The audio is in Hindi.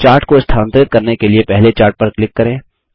चार्ट को स्थानांतरित करने के लिए पहले चार्ट पर क्लिक करें